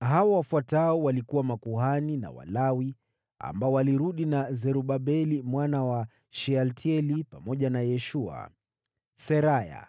Hawa wafuatao walikuwa makuhani na Walawi ambao walirudi na Zerubabeli mwana wa Shealtieli pamoja na Yeshua: Seraya,